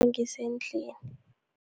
Nangisendlini.